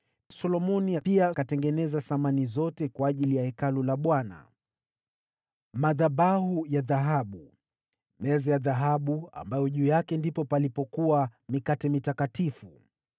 Solomoni pia akatengeneza samani zote zilizokuwa ndani ya Hekalu la Bwana : madhabahu ya dhahabu; meza ya dhahabu za kuweka mikate ya Wonyesho;